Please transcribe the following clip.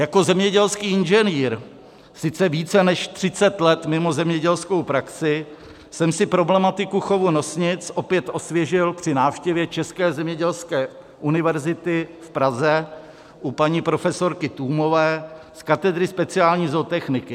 Jako zemědělský inženýr, sice více než 30 let mimo zemědělskou praxi, jsem si problematiku chovu nosnic opět osvěžil při návštěvě České zemědělské univerzity v Praze u paní profesorky Tůmové z katedry speciální zootechniky.